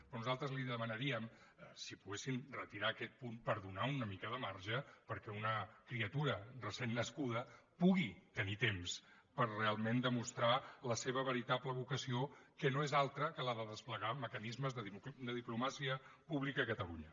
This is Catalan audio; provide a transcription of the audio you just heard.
però nosaltres li demanaríem si poguessin retirar aquest punt per donar una mica de marge perquè una criatura recentment nascuda pugui tenir temps per realment demostrar la seva veritable vocació que no és altra que la de desplegar mecanismes de diplomàcia pública a catalunya